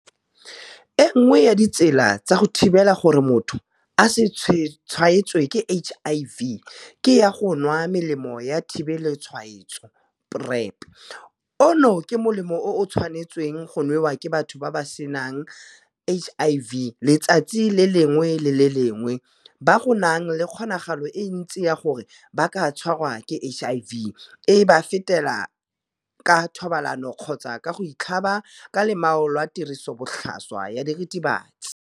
E nngwe ya ditsela tsa go thibela gore motho a se tshwaetswe ke HIV ke ya go nwa Melemo ya Thibelotshwaetso PrEP, ono ke molemo o o tshwanetsweng go nwewa ke batho ba ba senang HIV letsatsi le lengwe le le lengwe ba go nang le kgonagalo e ntsi ya gore ba ka tshwarwa ke HIV, e ba fetela ka thobalano kgotsa ka go itlhaba ka lomao lwa tirisobotlhaswa ya diritibatsi.